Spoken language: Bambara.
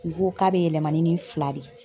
U ko k'a bɛ yɛlɛma ni nin fila de ye